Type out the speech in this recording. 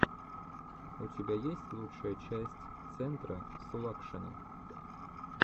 у тебя есть лучшая часть центра сулакшина